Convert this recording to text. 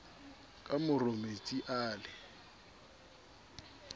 ka moro metsi a le